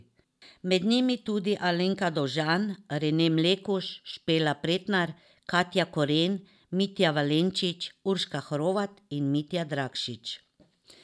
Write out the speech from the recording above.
Med njimi tudi Alenka Dovžan, Rene Mlekuž, Špela Pretnar, Katja Koren, Mitja Valenčič, Urška Hrovat in Mitja Dragšič.